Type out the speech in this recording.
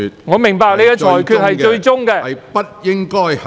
我明白你的裁決為最終決定。